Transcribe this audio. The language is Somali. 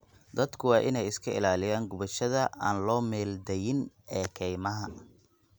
Dadku waa inay iska ilaaliyaan gubashada aan loo meel dayin ee kaymaha.